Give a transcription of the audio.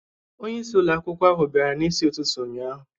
Onye isi ụlọ akwụkwọ ahụ bịara n'isi ụtụtụ ụnyahụ